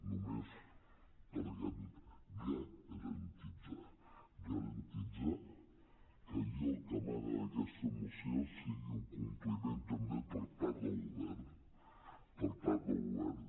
només per garantir que allò que emana d’aquesta moció sigui un compliment també per part del govern per part del govern